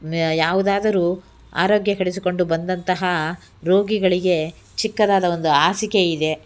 ಯಾವುದಾದರು ಆರೋಗ್ಯ ಕೆಡೆಸಿಕೊಂಡು ಬಂದಂತಹ ರೋಗಿಗಳಿಗೆ ಚಿಕ್ಕದಾದ ಒಂದು ಹಾಸಿಗೆ ಇದೆ.